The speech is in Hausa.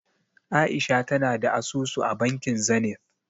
A'isha tana da asusu a bankin Zenith.